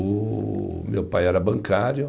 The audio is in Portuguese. O meu pai era bancário.